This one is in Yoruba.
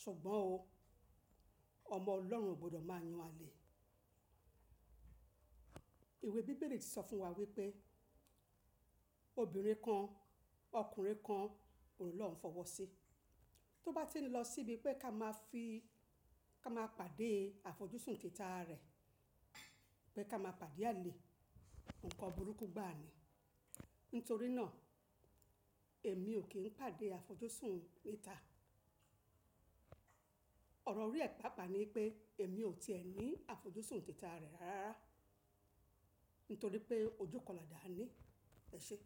ṣùgbọ́n o, ọmọ Ọlọ́run ò gbọdọ̀ máa yan àlè. Ìwé Bíbélì sọ fún wa wípé obìnrin kan, ọkùnrin kan, òòrùn Ọlọ́run fọwọ́ sí. Tó bá ti ń lọ síbi pé ká máa pàdé àfojúsùn tita rẹ, pé ká máa pàdé àlè, nǹkan burúkú gbá a ni. Nítorí náà èmi ò kí ń pàdé àfojúsùn tita. Ọ̀rọ̀ orí ẹ̀pààpá ni pé èmi ò ti ẹ ní àfojúsùn tita rẹ rárá. Nítorí pé ojúkọlàdà ni ẹ ṣe.